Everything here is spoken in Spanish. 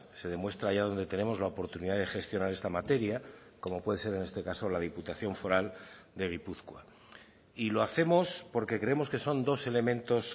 se demuestra allá donde tenemos la oportunidad de gestionar esta materia como puede ser en este caso la diputación foral de gipuzkoa y lo hacemos porque creemos que son dos elementos